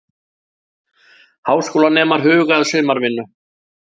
Háskólanemar huga að sumarvinnu